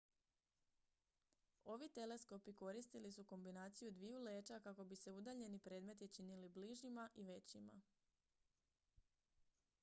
ovi teleskopi koristili su kombinaciju dviju leća kako bi se udaljeni predmeti činili bližima i većima